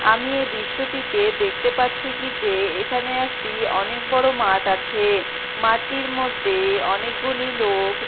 আমি এই দৃশ্যটিতে দেখতে পাচ্ছি কি যে এখানে একটি অনেক বড়ো মাঠ আছে-এ। মাঠটির মধ্যে-এ অনেকগুলি লোক।